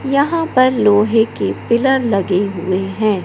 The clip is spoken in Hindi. यहां पर लोहे के पिलर लगे हुए हैं।